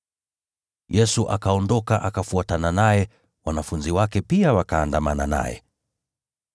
Yesu akaondoka akafuatana naye, nao wanafunzi wake pia wakaandamana naye.